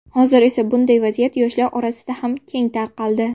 Hozir esa bunday vaziyat yoshlar orasida ham keng tarqaldi.